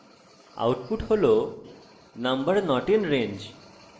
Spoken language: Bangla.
output number not in range হিসাবে প্রদর্শিত হয়েছে